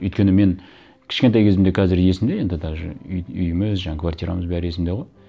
өйткені мен кішкентай кезім де қазір есімде енді даже үйіміз жаңа квартирамыз бәрі есімде ғой